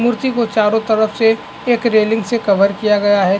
मूर्ति को चारों तरफ से एक रेलिंग से कवर किया गया है ।